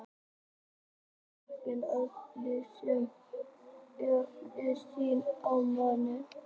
Að baki henni býr ákveðin lífsskoðun sem og siðferðileg sýn á manninn.